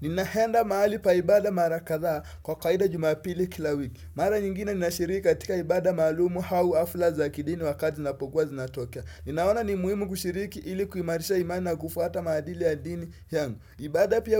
Ninaenda mahali paibada mara katha kwa kawaida jumapili kila wiki. Mara nyingine nina shiriki katika ibada malumu hau afla za kidini wakati zinapokuwa zina tokea. Ninaona ni muhimu kushiriki ilikuimarisha imani na kufuata madili ya dini yangu. Ibada pia